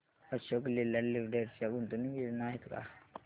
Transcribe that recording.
Ashok Leyland Limited च्या गुंतवणूक योजना आहेत का